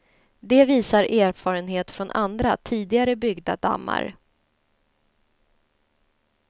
Det visar erfarenhet från andra, tidigare byggda dammar.